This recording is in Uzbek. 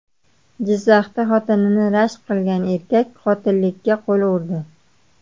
Jizzaxda xotinini rashk qilgan erkak qotillikka qo‘l urdi.